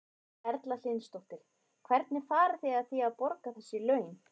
Erla Hlynsdóttir: Hvernig farið þið að því að, að borga þessi laun?